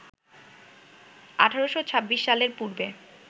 ১৮২৬ সালের পূর্বে